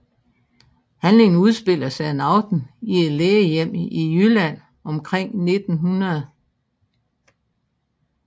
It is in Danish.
Handlingen udspiller sig en aften i et lægehjem i Jylland omkring 1900